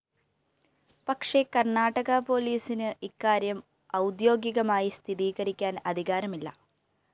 പക്ഷേ കര്‍ണാടക പോലീസിന് ഇക്കാര്യം ഔദ്യോഗികമായി സ്ഥിരീകരിക്കാന്‍ അധികാരമില്ല